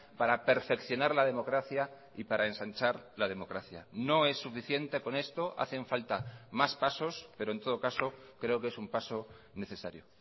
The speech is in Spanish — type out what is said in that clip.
para perfeccionar la democracia y para ensanchar la democracia no es suficiente con esto hacen falta más pasos pero en todo caso creo que es un paso necesario